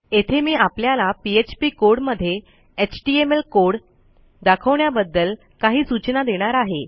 येथे मी आपल्याला पीएचपी कोड मध्ये एचटीएमएल कोड दाखवण्याबद्दल काही सूचना देणार आहे